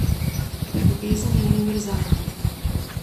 Ljubezen je univerzalna.